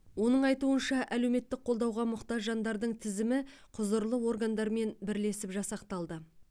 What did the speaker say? оның айтуынша әлеуметтік қолдауға мұқтаж жандардың тізімі құзырлы органдармен бірлесіп жасақталды